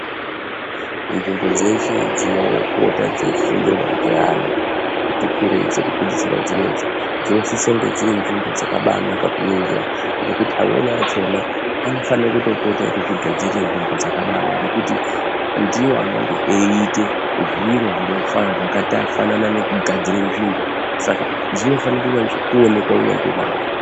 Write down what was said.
Nzvimbo dzeshe dzinoona dzeipota dzeifundirwa ngevana vati kurei dzekupedzisira dzinedzi dzinosisa kungeb dziri nzvimbo dzakaibainaka kuningira ngekuti amweni achona anofana kutopota eizvitogadzirira nzvimbo dzakadaro ngekuti ndiwo anenge eyiita zviro zvakafanana ngekugadzira nzvimbo. Saka dzinofanira kunyatsoonekwa hunyanzvi hwahwo